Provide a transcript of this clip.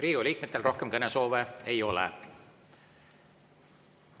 Riigikogu liikmetel rohkem kõnesoove ei ole.